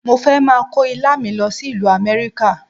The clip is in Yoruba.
Mo fẹ́ máa kó Ilá mi lọ sí ìlú Amẹ́ríkà.